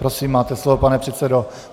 Prosím máte slovo, pane předsedo.